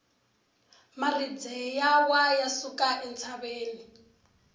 maribye ya wa ya suka entshaveni